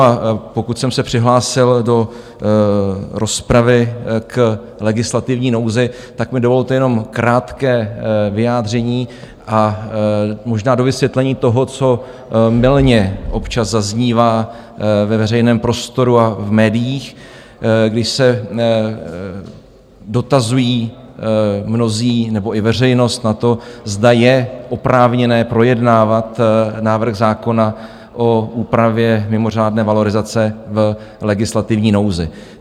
A pokud jsem se přihlásil do rozpravy k legislativní nouzi, tak mi dovolte jenom krátké vyjádření a možná dovysvětlení toho, co mylně občas zaznívá ve veřejném prostoru a v médiích, když se dotazují mnozí nebo i veřejnost na to, zda je oprávněné projednávat návrh zákona o úpravě mimořádné valorizace v legislativní nouzi.